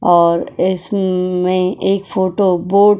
और इसमें एक फोटो बोट --